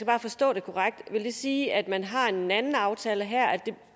bare forstå det korrekt så vil det sige at man har en anden aftale her